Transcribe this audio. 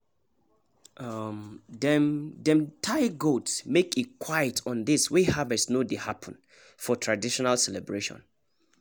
dem dem dey tie goat make e quiet on days wey harvest no dey happen for traditional celebration